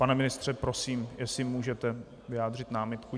Pane ministře, prosím, jestli můžete vyjádřit námitku.